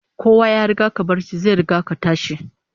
Kowa ya riga ka barci, zai riga ka tashi